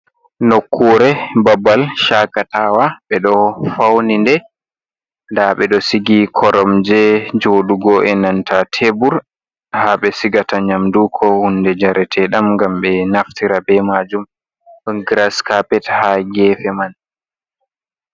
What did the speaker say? Nnokkure babal shakatawa ɓe ɗo fauni nde, nda ɓe ɗo sigi korom je joɗugo e nanta tebur ha ɓe sigata nyamdu, ko hunde jarateɗam ngam ɓe naftira be majum ɗon giras kapet ha gefe man.